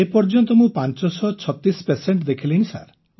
ଏପର୍ଯ୍ୟନ୍ତ ମୁଁ ପାଞ୍ଚ ଶହ ଛତିଶ ପେସେଣ୍ଟ ଦେଖିଲିଣି ସାର୍